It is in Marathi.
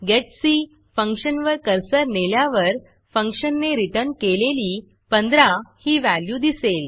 getC फंक्शनवर कर्सर नेल्यावर फंक्शनने रिटर्न केलेली 15 ही व्हॅल्यू दिसेल